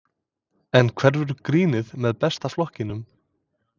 En hverfur grínið með Besta flokknum?